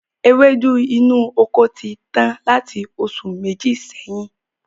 Ewédú inú oko ti tán láti oṣù Méjì sẹ́yìn